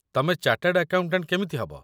ତମେ chartered accountant କେମିତି ହେବ?